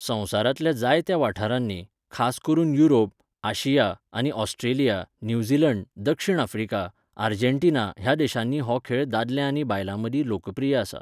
संवसारांतल्या जायत्या वाठारांनी, खास करून युरोप, आशिया आनी ऑस्ट्रेलिया, न्यूझीलंड, दक्षिण आफ्रिका, आर्जेन्टिना ह्या देशांनी हो खेळ दादले आनी बायलां मदीं लोकप्रिय आसा.